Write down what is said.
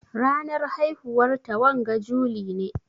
Ranar haihuwar ta wanga juli ne?